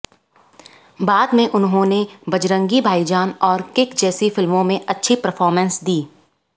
बाद में उन्होंने बजरंगी भाई जान और किक जैसी फिल्मों में अच्छी परफॉर्मेंस दी